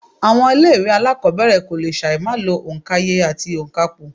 Àwọn ilé ìwé alákọ̀ọ́bẹ̀rẹ̀ kò lè ṣàì má lo òǹkaye àti ònkapò